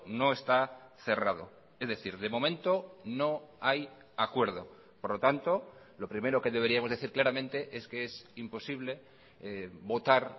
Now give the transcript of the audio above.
no está cerrado es decir de momento no hay acuerdo por lo tanto lo primero que deberíamos decir claramente es que es imposible votar